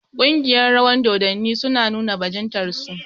Ƙungiyar rawar dodanni su na nuna bajintar su